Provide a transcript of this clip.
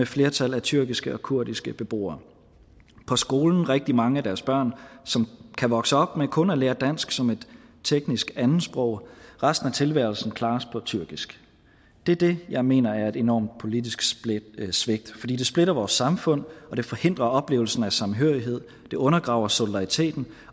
flertal af tyrkiske og kurdiske beboere på skolen rigtig mange af deres børn som kan vokse op med kun at lære dansk som et teknisk andetsprog resten af tilværelsen klares på tyrkisk det er det jeg mener er et enormt politisk svigt fordi det splitter vores samfund og det forhindrer oplevelsen af samhørighed det undergraver solidariteten